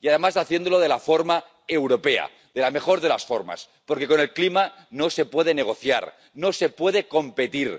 Y, además, haciéndolo de la forma europea —de la mejor de las formas—, porque con el clima no se puede negociar, no se puede competir.